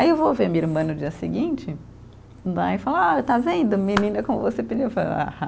Aí eu vou ver minha irmã no dia seguinte né, e falo, ah está vendo, menina como você pediu, eu falo, aham.